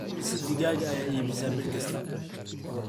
imise digaag ayaa iibisaa bil kasta